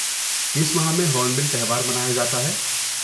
کس ماہ میں ہونبل تہوار منایا جاتا ہے؟